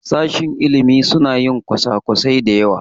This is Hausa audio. Sashen ilimi suna yin kwasa-kwasai da yawa.